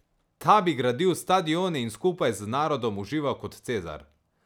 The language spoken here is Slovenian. Ta bi gradil stadione in skupaj z narodom užival kot Cezar.